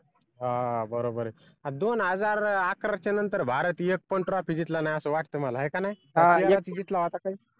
हा बरोबर दोन हजार अकराच्या नंतर भारत एक पण ट्रॉफी जितला नाय असं वाटतं मला हाय का नाय